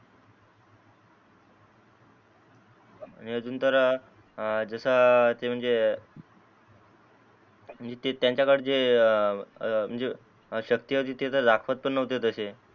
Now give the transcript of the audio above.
आणि अजून तर जसा ते म्हणजे म्हणजे त्यांच्या कडे जे म्हणजे शक्ति होती ते तर दाखवत पण नव्हते तसे